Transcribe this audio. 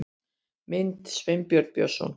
Mynd: Sveinbjörn Björnsson